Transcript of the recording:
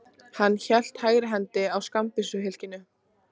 Hann hélt hægri hendi á skammbyssuhylkinu.